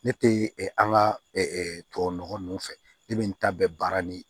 Ne tɛ an ka tubabunɔgɔ ninnu fɛ ne bɛ n ta bɛn baara ni